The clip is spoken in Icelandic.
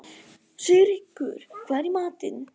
Sigríkur, hvað er í matinn?